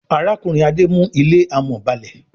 Arákùnrin Ade mú ilé amò ba'le.